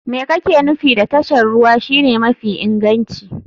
Me kake nufi da tashar ruwa shine mafi inganci?